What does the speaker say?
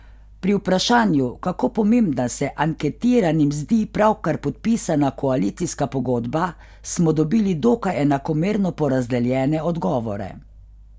Pri vprašanju, kako pomembna se anketiranim zdi pravkar podpisana koalicijska pogodba, smo dobili dokaj enakomerno porazdeljene odgovore.